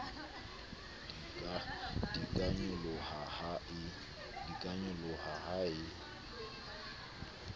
di ka nyoloha ha e